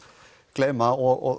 gleyma og